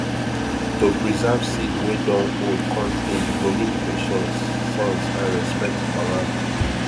to preserve seed wey dun old cun tay you go need patience sense and respect for land